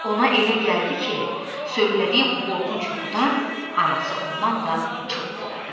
Ona elə gəldi ki, söylədiyi bu qorxunc yuxudan anası ondan da çox qorxdu.